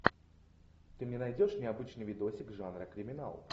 ты мне найдешь необычный видосик жанра криминал